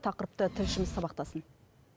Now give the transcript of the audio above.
тақырыпты тілшіміз сабақтасын